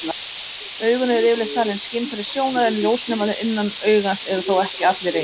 Augun eru yfirleitt talin skynfæri sjónar, en ljósnemarnir innan augans eru þó ekki allir eins.